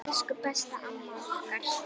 Alnæmi, berklar og malaría